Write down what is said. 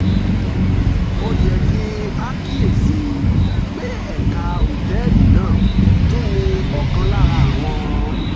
ó yẹ kí a kíyè sí i pé ẹ̀ka òtẹ́ẹ̀lì náà tún ní ọ̀kan lára àwọn